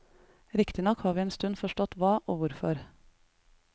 Riktignok har vi en stund forstått hva og hvorfor.